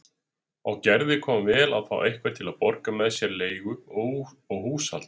Og Gerði kom vel að fá einhvern til að borga með sér leigu og húshald.